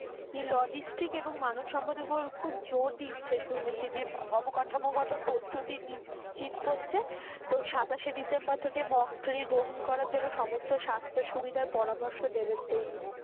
হি Logistic এবং মানবসম্প্রদায় এর উপর খুব জোর দিচ্ছে শুনেছি যে অবকাঠামোগত প্রস্তুতি নিশ্চিত করছে তো সাতাশে ডিসেম্বর থেকে mock drill গ্রহণ করার জন্য সমস্ত স্বাস্থ্য সুবিধা পরামর্শ দেবেন তো উনি,